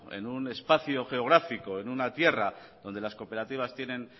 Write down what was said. en un espacio geográfico en una tierra donde las cooperativas tienen